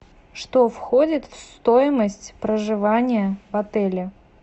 что входит в стоимость проживания в отеле